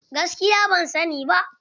Gaskiya ban sa ni ba.